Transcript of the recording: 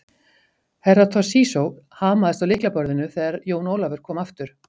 Herra Toshizo hamaðist á lyklaborðinu þegar Jón Ólafur kom aftur.